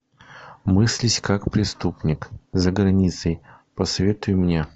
мыслить как преступник за границей посоветуй мне